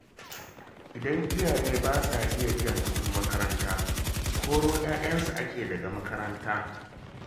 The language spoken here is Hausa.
Idan iyaye ba sa iya biyan kuɗin makaranta, koro 'ya'yan ake daga makaranta